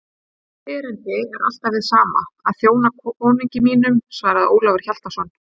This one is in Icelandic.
Mitt erindi er alltaf hið sama: að þjóna konungi mínum, svaraði Ólafur Hjaltason.